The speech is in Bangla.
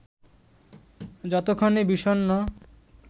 যতক্ষণে বিষণ্ণ